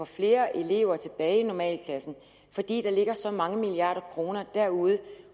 flere elever tilbage i normalklasserne fordi der ligger så mange milliarder kroner at derude